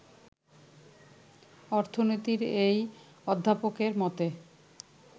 অর্থনীতির এই অধ্যাপকের মতে